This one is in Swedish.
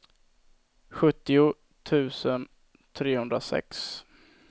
sjuttio tusen trehundrasex